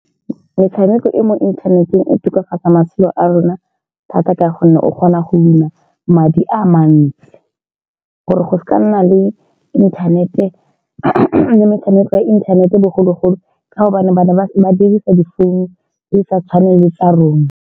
Metshameko e e mo inthaneteng e tokafatsa matshelo a rona thata, ka gonne o kgona go win-a madi a mantsi. Gore go seka ga nna le inthanete le metshameko ya inthanete bogologolo ka gobane ba ne ba, ba dirisa difounu tse di sa tshwaneng le tsa rona.